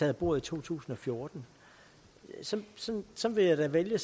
af bordet i to tusind og fjorten så så vil jeg da vælge